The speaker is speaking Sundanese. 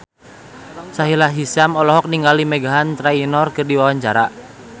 Sahila Hisyam olohok ningali Meghan Trainor keur diwawancara